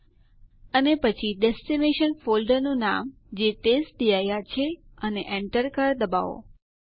terminal પર ચાલો type કરીએ ઇડ અને Enter ડબાઓ